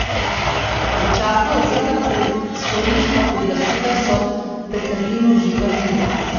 Začasno odvzeta predstojniška pooblastila so Peterlinu že vrnili.